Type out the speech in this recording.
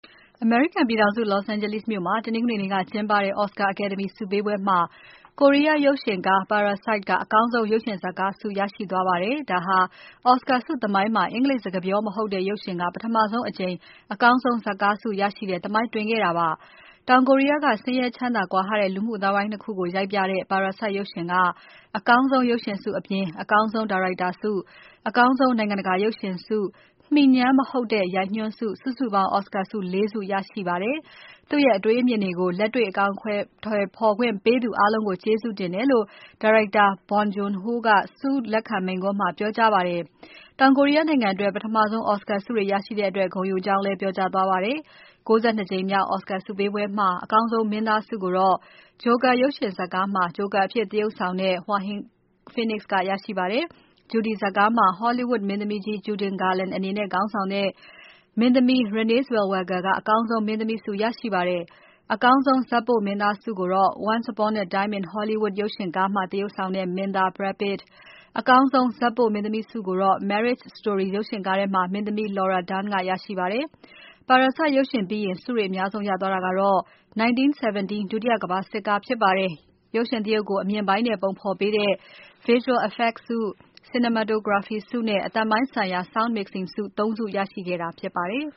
အမေရိကန်ပြည်ထောင်စု Los Angeles မြို့မှာ တနင်္ဂနွေနေ့က ကျင်းပတဲ့ Oscar အကယ်ဒမီဆုပေးပွဲမှာ ကိုရီးယားရုပ်ရှင်ကား Parasite က အကောင်းဆုံး ရုပ်ရှင်ဇာတ်ကားဆု ရရှိသွားပါတယ်။ ဒါဟာ Oscar ဆုသမိုင်းမှာ အင်္ဂလိပ်စကားပြော မဟုတ်တဲ့ ရုပ်ရှင်က ပထမဆုံးအကြိမ် အကောင်းဆုံး ဇာတ်ကားဆု ရရှိတဲ့ သမိုင်းတွင်ခဲ့တာ ဖြစ်ပါတယ်။ တောင်ကိုရီးယားက ဆင်းရဲ ချမ်းသာကွာဟတဲ့ လူမှုအသိုင်းအဝိုင်း ၂ ခုကို ရိုက်ပြထားတဲ့ Parasite ရုပ်ရှင်က အကောင်းဆုံးရုပ်ရှင်ဆုအပြင်၊ အကောင်းဆုံးဒါရိုက်တာဆု၊ နိုင်ငံတကာရုပ်ရှင်ဆု၊ မှီညမ်းမဟုတ်တဲ့ ရိုက်ညွှန်းဆု၊ စုစုပေါင်း Oscar ဆု ၄ ခု ရရှိသွားပါတယ်။ သူ့ရဲ့ အတွေးအမြင်တွေကို လက်တွေ့အကောင်အထည် ဖော်ခွင့်ပေးသူအားလုံးကို ကျေးဇူးတင်တယ်လို့ ဒါရိုက်တာ Bong Joon Ho က ဆုလက်ခံမိန့်ခွန်းမှာ ပြောကြားပါတယ်။ တောင်ကိုရီးယားနိုင်ငံအတွက် ပထမဆုံး Oscar ဆုတွေရရှိတဲ့အတွက် ဂုဏ်ယူကြောင်းလည်း ပြောကြားသွားပါတယ်။ ၉၂ ကြိမ်မြောက် Oscar ဆုပေးပွဲမှာ အကောင်းဆုံးမင်းသားဆုကိုတော့ Joker ရုပ်ရှင်ကားမှာ ဂျိုကာအဖြစ်သရုပ်ဆောင်တဲ့ Joaquin Phoenix က ရရှိပါတယ်။ Judy ဇာတ်ကားမှာ Hollywood မင်းသမီးကြီး Judy Garland အနေနဲ့ သရုပ်ဆောင်တဲ့ မင်းသမီး Renée Zellweger က အကောင်းဆုံးမင်းသမီးဆု ရရှိပါတယ်။ အကောင်းဆုံး ဇာတ်ပို့မင်းသားဆုကို Once Upon a Time in Hollywood ရုပ်ရှင်ကားမှာ သရုပ်ဆောင်တဲ့ မင်းသား Brad Pitt၊ အကောင်းဆုံး ဇာတ်ပို့မင်းသမီးဆုကိုတော့ Marriage Story ရုပ်ရှင်ကားထဲက မင်းသမီး Laura Dern က ရရှိသွားပါတယ်။ Parasite ရုပ်ရှင်ပြီးရင် ဆုတွေအများဆုံးရသွားတာကတော့ ၁၉၁၇ ဒုတိယကမ္ဘာစစ်ကား ဖြစ်ပါတယ်။ ရုပ်ရှင်သရုပ်ကို အမြင်ပိုင်းနဲ့ဖော်ပေးတဲ့ Visual effects ဆု Cinematography ဆုနဲ့ အသံပိုင်းဆိုင်ရာ Sound mixing ဆု ၃ ဆုကို ရရှိခဲ့တာ ဖြစ်ပါတယ်။